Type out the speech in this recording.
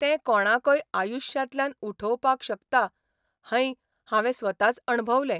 तें कोणाकय आयुश्यांतल्यान उठोवपाक शकता है हावें स्वताच अणभवलें.